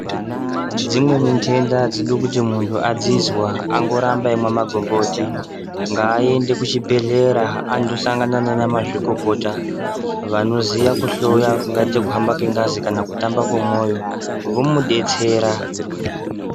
Dzimweni ndenda adzidi kuti muntu adzinzwa angoramba eimwa magomboti ngaende kuchibhehleya andosangana nana mazvikokota vanoziya kuhloya kuhamba kwengazi kana kutamba kwemoyo vomudetsera.